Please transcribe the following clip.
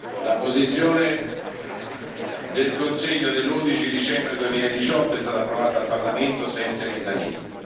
La posizione del Consiglio dell'11 dicembre 2018 è stata approvata dal Parlamento senza emendamenti.